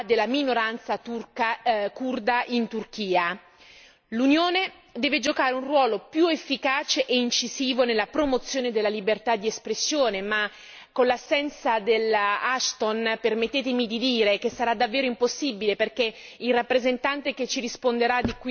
L'Unione deve giocare un ruolo più efficace e incisivo nella promozione della libertà di espressione, ma con l'assenza della Ashton permettetemi di dire sarà davvero impossibile, perché il rappresentante che ci risponderà da qui a poco, sicuramente non è nel suo cervello, non sa il suo pensiero.